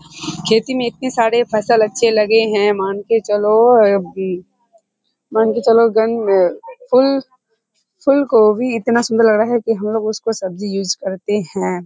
खेती मे इतने सारे फसल अच्छे लगे हैं मान के चलो मान के चलो फूल फुलकोभी इतना सुन्दर लग रहा है की हम लोग उसको सब्जी यूज़ करते हैं |